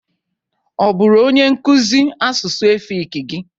Ọ bụru onyenkụzị asụsụ efik gị?